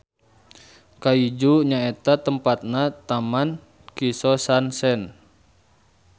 Kaizu nyaeta tempatna Taman Kisosansen.